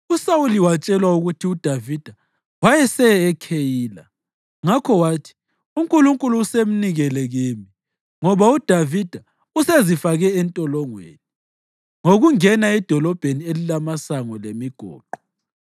USawuli watshelwa ukuthi uDavida wayeseye eKheyila, ngakho wathi, “UNkulunkulu usemnikele kimi, ngoba uDavida usezifake entolongweni ngokungena edolobheni elilamasango lemigoqo.”